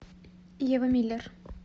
ева миллер